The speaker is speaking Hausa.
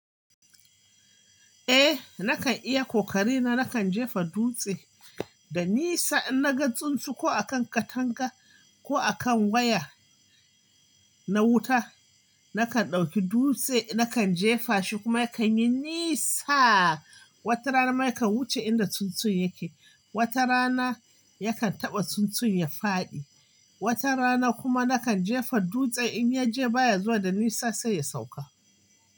Eh nakan iya kokari na nakan jefa dutse da nisa in na ga tsuntsu ko a kan katanga ko a kan waya na wuta. Nakan ɗauki dutse nakan jefa shi kuma yakan yi nisa. Wata rana ma yakan wuce inda tsuntsun yake, wata rana yakan taɓa tsuntsun ya faɗi. Wata rana kuma nakan jefa dutsen in ya je ba ya zuwa da nisa sai ya sauka.